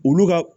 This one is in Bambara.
Olu ka